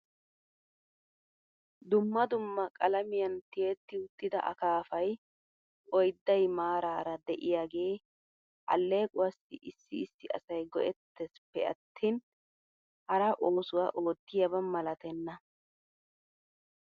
Dumma dumma qalamiyan tiyetti uttida akaafay oydday maaraara de'iyaagee aleequwaassi issi issi asay go'ettesppe attin hara oosuwaa oottiyaaba malatenna .